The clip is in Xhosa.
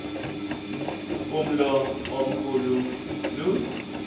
umlo omkhu lu